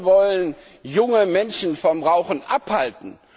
Wir wollen junge Menschen vom Rauchen abhalten.